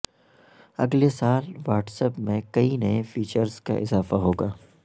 اگلے سال WhatsApp میں کئی نئے فیچرزکااضافہ ہوگا